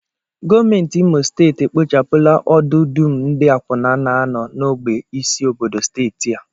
Gọọmenti Imo steeti ekpochapụla ọdụ dum ndị akwụna na-anọ n'ógbè isi obodo steeti a